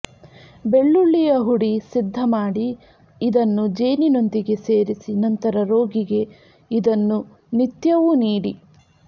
ಬೆಳ್ಳುಳ್ಳಿಯ ಹುಡಿ ಸಿದ್ಧಮಾಡಿ ಇದನ್ನು ಜೇನಿನೊಂದಿಗೆ ಸೇರಿಸಿ ನಂತರ ರೋಗಿಗೆ ಇದನ್ನು ನಿತ್ಯವೂ ನೀಡಿ